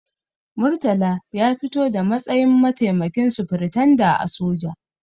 Murtala ya fito da matsayin mataimakin sufiritanda a soja.